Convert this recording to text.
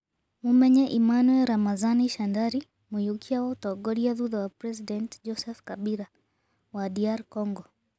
Mumenye Emmanuel Ramazani Shadary, muiyũkia wa utongoria thutha wa President Joseph Kabila wa DR Congo.